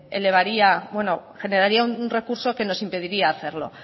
elevaría o generaría un recurso que nos impediría hacerlo